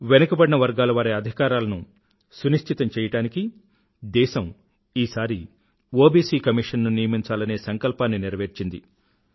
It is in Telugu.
వెనుకబడిన వర్గాలవారి అధికారాలను సునిశ్చితం చెయ్యడానికి దేశం ఈసారి ఒబిసి కమీషన్ ను నియమించాలనే సంకల్పాన్ని నెరవేర్చింది